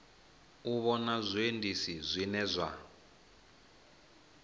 u vhona zwiendisi zwine zwa